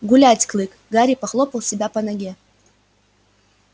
гулять клык гарри похлопал себя по ноге